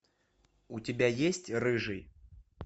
у тебя есть рыжий